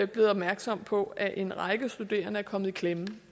blevet opmærksom på at en række studerende er kommet i klemme